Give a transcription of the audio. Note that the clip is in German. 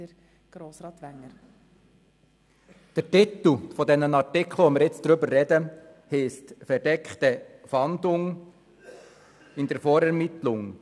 der SiK. Der Titel der Artikel, über die wir gerade sprechen, heisst «Verdeckte Fahndung in der Vorermittlung».